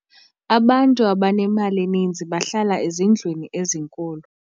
abantu abanemali eninzi bahlala ezindlwini ezinkulu